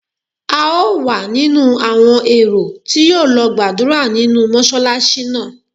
A ó wà nínú àwọn èrò tí yóò lọ gbàdúrà nínú Mọ́ṣálásí náà.